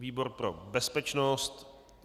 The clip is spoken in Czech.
Výbor pro bezpečnost.